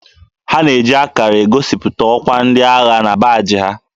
A na-eji akarà egosipụta ọkwá ndị agha na baajị ha